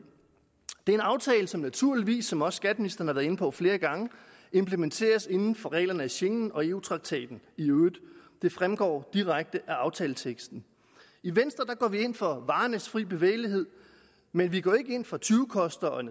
det er en aftale som naturligvis som også skatteministeren har været inde på flere gange implementeres inden for reglerne af schengen og eu traktaten i øvrigt det fremgår direkte af aftaleteksten i venstre går vi ind for varernes fri bevægelighed men vi går ikke ind for tyvekosters og